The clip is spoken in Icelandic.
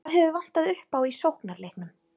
Hvað hefur vantað upp á í sóknarleiknum?